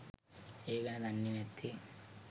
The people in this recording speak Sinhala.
ඒ ගැන දන්නෙ නැත්තෙ.